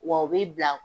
Wa u bi bila